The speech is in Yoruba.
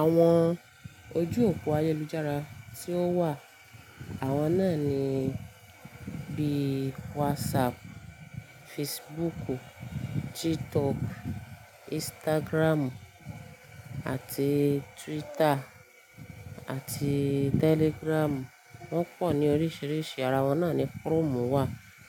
Àwọn ojú òpó ayélujára tí ó wà, àwọn náà ni bí WhatsApp, Facebook, TikTok, Instagram àti Twitter àti Telegram. Wọ́n pọ̀ ní oríṣiríṣi, ara wọn náà ni Chrome wà,